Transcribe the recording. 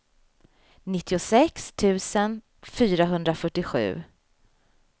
nittiosex tusen fyrahundrafyrtiosju